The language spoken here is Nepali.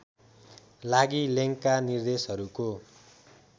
लागि लेङ्गका निर्देशहरूको